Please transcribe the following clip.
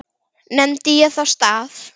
Nefndi ég þá stað.